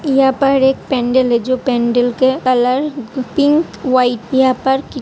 यहा पर एक पेंडल है जो पेंडल का कलर पिंक वाईट यहाँ पर --